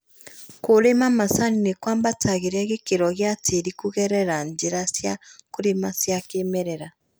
Kũrĩma macani ni kũambatagĩria gĩkĩro gĩa tĩri kũgerera njĩra cia kũrĩma cia kĩmerera